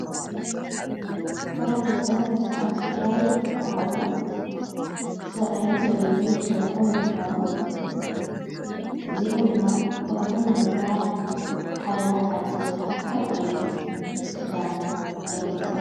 ኅብረተሰብ ወይ ከዓ ሥድራቤት ዝበሃሉ ሰብኣይን ሰበይትን ምስ ደቆም እንተኾኑ እዚኦም ድማ በሃሎም ንምኽባር ዓለባ ዓዲ ዝበሃል ሓድ ዓይነት ክዳን እዮም ዝዂዶኑ።